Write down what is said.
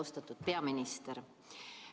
Austatud peaminister!